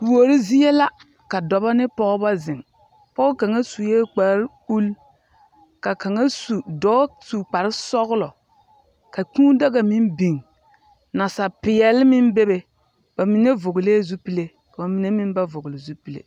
Kuori zie la ka dɔbɔ ne pɔgebɔ zeŋ. Pɔge kaŋa sue kparre ul, ka kaŋa su, dɔɔ su kparre sɔglɔ, Ka kūū daga meŋ biŋ, Nasaapeɛl meŋ be be, Ba mine vɔglɛɛ zupile ka ba mine meŋ ba vɔgle zupile.